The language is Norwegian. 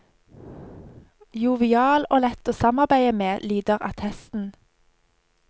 Jovial og lett å samarbeide med, lyder attesten.